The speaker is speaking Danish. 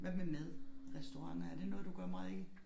Hvad med mad restauranter er det noget du gør meget i?